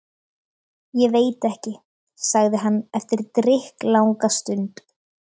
Ég veit ekki. sagði hann eftir drykklanga stund.